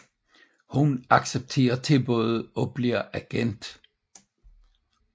Hun accepterer tilbuddet og bliver agent